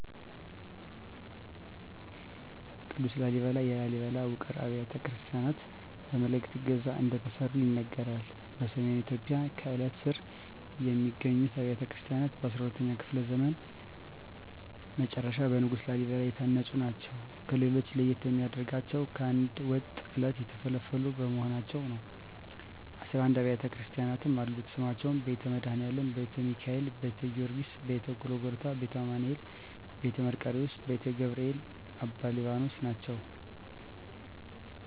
ቅዱስ ላሊበላ የላሊበላ ውቅር አብያተ ክርስቲያናት በመላዕክት ዕገዛ እንደተሠሩ ይነገራል። በሰሜን ኢትዮጵያ ከአለት ስር የሚገኙት አብያተ ክርስቲያናት በ12ኛው ክፍለ ዘመን መጨረሻ በንጉሥ ላሊበላ የታነጹ ናቸው። ከሌሎች ለየት የሚያደርገው ከአንድ ወጥ ዐለት የተፈለፈሉ መሆናቸው ነው 11 አቢያተ ክርስቲያናትም አሉት ስማቸውም ቤተ መድኃኒአለም: ቤተ ሚካኤል: ቤተ ጊዎርጊስ :ቤተ ጎልጎታ :ቤተ አማኑኤል: ቤተ መርቆሪዎስ :ቤተ ገብርኤል: አባ ሊባኖስ ናቸው